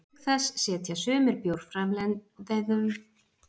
Auk þessa setja sumir bjórframleiðendur ýmis auka- og hjálparefni út í bjórinn.